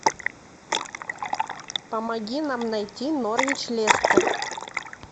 помоги нам найти норвич лестер